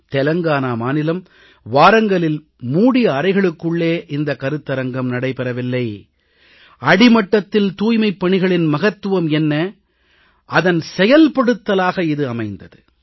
தெலுங்கானா மாநிலம் வாரங்கலின் மூடிய அறைகளுக்குள்ளே இந்த கருத்தரங்கம் நடைபெறவில்லை அடிமட்டத்தில் தூய்மைப்பணிகளின் மகத்துவம் என்ன அதன் செயல்படுத்தலாக இது அமைந்தது